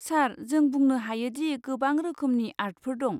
सार, जों बुंनो हायो दि गोबां रोखोमनि आर्टफोर दं।